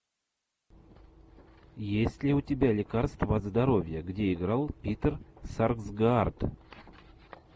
есть ли у тебя лекарство от здоровья где играл питер сарсгаард